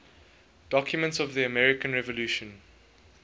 documents of the american revolution